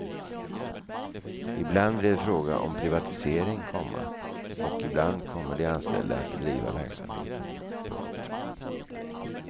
Ibland blir det fråga om privatisering, komma och ibland kommer de anställda att driva verksamheten. punkt